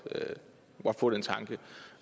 få den tanke